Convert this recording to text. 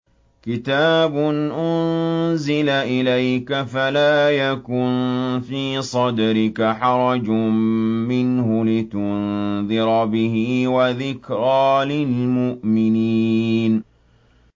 كِتَابٌ أُنزِلَ إِلَيْكَ فَلَا يَكُن فِي صَدْرِكَ حَرَجٌ مِّنْهُ لِتُنذِرَ بِهِ وَذِكْرَىٰ لِلْمُؤْمِنِينَ